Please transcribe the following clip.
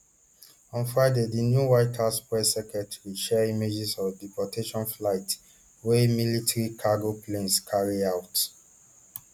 on friday di new white house press secretary share images of deportation flights wey military cargo planes carry out